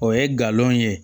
O ye galon ye